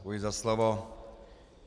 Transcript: Děkuji za slovo.